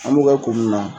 An b'u ka ko mun na